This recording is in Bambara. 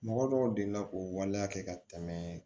Mɔgɔ dɔw delila k'o waleya kɛ ka tɛmɛ